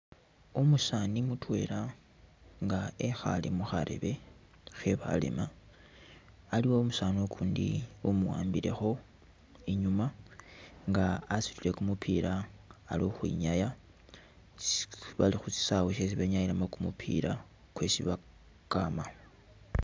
Umusaani mutwela nga ekhale mukhareebe khe'balema aliwo umusaani ukundi umuwambilekho inyuma nga asutile kumupila ali ukhwinyaya bakhusisaawe shesi benyanyilakho kumupila kwesi bakama